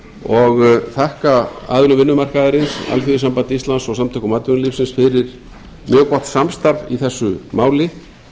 og þakka aðilum vinnumarkaðarins alþýðusambandi íslands og samtökum atvinnulífsins fyrir mjög gott samstarf í þessu máli